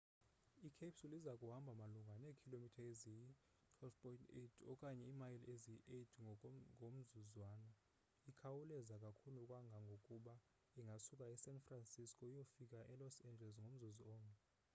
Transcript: i-capsule iza kuhamba malunga neekhilomitha eziyi-12.8 okanye imayile eziyi-8 ngomzuzwana ikhawuleza kakhulu kangangokuba ingasuka esan francisco iyofika elos angeles ngomzuzu omnye